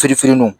Firin firinnu